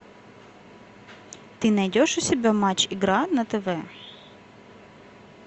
ты найдешь у себя матч игра на тв